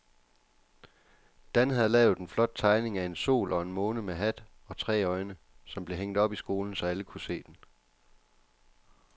Dan havde lavet en flot tegning af en sol og en måne med hat og tre øjne, som blev hængt op i skolen, så alle kunne se den.